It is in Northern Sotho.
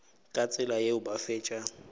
ka tsela yeo ba fetša